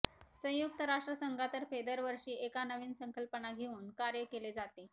संयुक्त राष्ट्रसंघातर्फे दरवर्षी एका नवीन संकल्पना घेऊन कार्य केले जाते